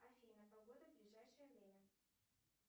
афина погода в ближайшее время